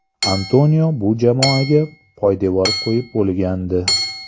Antonio bu jamoaga poydevor qo‘yib bo‘lgandi.